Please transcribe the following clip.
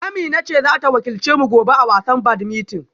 Amina ce za ta wakilce mu gobe a wasan badminton?